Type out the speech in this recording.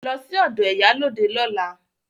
Lọ sí ọ̀dọ̀ ìyálóde lọ́la!